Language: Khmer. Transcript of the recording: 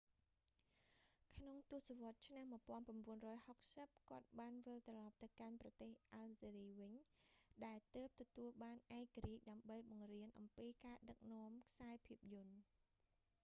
ក្នុងទសវត្សរ៍ឆ្នាំ1960 គាត់បានវិលត្រឡប់ទៅកាន់ប្រទេសអាល់ហ្សេរីវិញ ដែលទើបទទួលបានឯករាជ្យ ដើម្បីបង្រៀនអំពីការដឹកនាំខ្សែភាពយន្ត